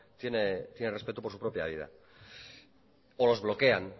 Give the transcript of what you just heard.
tiene respeto por su propia vida o los bloquean